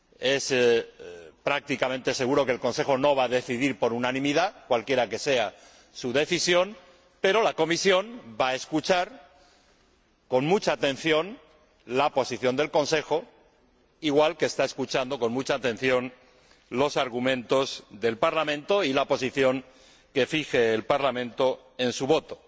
Es prácticamente seguro que el Consejo no va a decidir por unanimidad, cualquiera que sea su decisión, pero la Comisión va a escuchar con mucha atención la posición del Consejo, igual que está escuchando con mucha atención los argumentos del Parlamento y escuchará la posición que fije el Parlamento en su voto.